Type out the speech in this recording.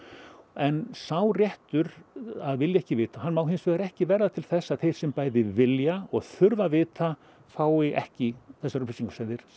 en sá réttur að vilja ekki vita má hins vegar ekki verða til þess að þeir sem vilja og þurfa að vita fái ekki þessar upplýsingar sem þeir